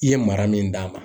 I ye mara min d'a ma